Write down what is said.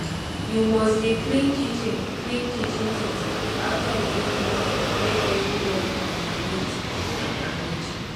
you must dey clean kitchen clean kitchen things after you don use am make everywhere for dey neat and arrange